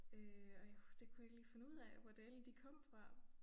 Øh og jeg det kunne jeg ikke lige finde ud af hvor dælen de kom fra